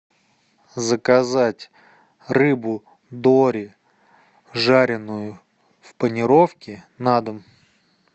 заказать рыбу дори жареную в панировке на дом